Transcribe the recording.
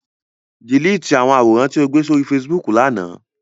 Dèlétì àwòrán tí ó gbé sórí Facebook l'ánà!